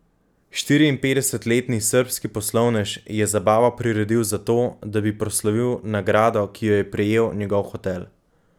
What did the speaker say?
Štiriinpetdesetletni srbski poslovnež je zabavo priredil zato, da bi proslavil nagrado, ki jo je prejel njegov hotel.